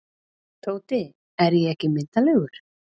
Tóti, er ég ekki myndarlegur?